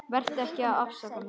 Vertu ekki að afsaka þig.